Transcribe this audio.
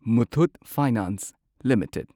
Muthoot Finance limited